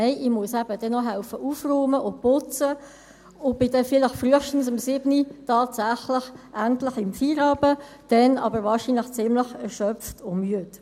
Nein, ich muss dann eben noch aufräumen und putzen helfen und bin dann tatsächlich vielleicht frühestens um 19 Uhr endlich im Feierabend – dann aber wahrscheinlich ziemlich erschöpft und müde.